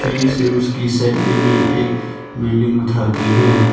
उसकी साइड में भी एक बिल्डिंग उठा के है।